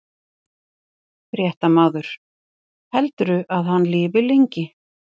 Fréttamaður: Heldurðu að hann lifi lengi?